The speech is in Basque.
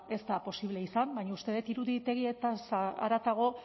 ez da posible izan baina uste dut iruditegiez haratago